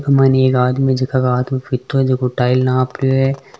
इका मायने एक आदमी जीका का हाथ में फितो जो टाइल नाप रयो है।